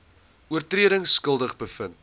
oortredings skuldig bevind